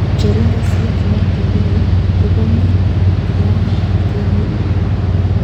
Cheringisyet noto neoo ko komii eng' tyang'iik ab timiin